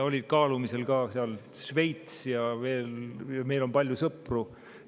Oli kaalumisel ka Šveits ja veel, meil on palju sõpru.